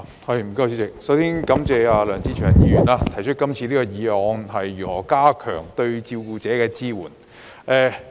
主席，我首先感謝梁志祥議員提出這項題為"加強對照顧者的支援"議案。